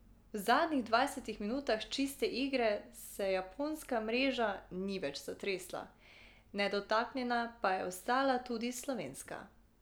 V zadnjih dvajsetih minutah čiste igre se japonska mreža ni več zatresla, nedotaknjena pa je ostala tudi slovenska.